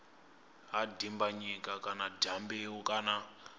ha dimbanyika kana dyambeu kana